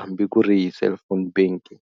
hambi ku ri hi cellphone banking.